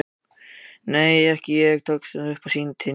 nei, ekki ég, tekst honum loks að stynja upp.